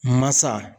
Masa